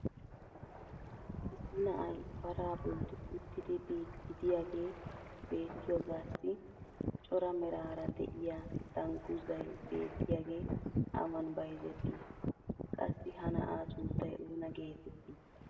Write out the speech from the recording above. issi na"ay paraa boli uttidi biidi diyaagee beettioyaagassi cora meraara de'iya danguzzay beettiyaagee awan bayzzettii? qassi ha na"aa sunttay oona geetettii?